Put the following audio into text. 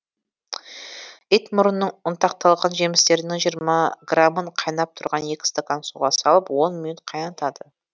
итмұрынның ұнтақталған жемістерінің жиырма грамын қайнап тұрған екі стакан суға салып он минут қайнатады